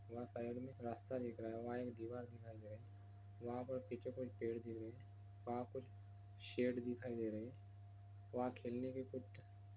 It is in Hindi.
यहां साईड में एक रास्ता दिख रहा हैं वहां एक दीवाल दिखाई दे रही हैं वहां पे पीछे कुछ पेड़ दिख रहे हैं वहां कुछ शेड दिखाई दे रहे हैं वहां खेलने के कुछ--